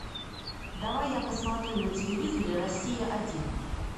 давай я посмотрю на телевизоре россия один